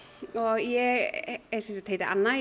ég sem sagt heiti Anna í